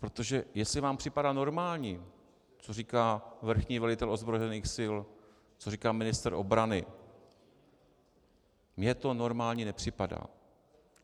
Protože jestli vám připadá normální, co říká vrchní velitel ozbrojených sil, co říká ministr obrany, mně to normální nepřipadá.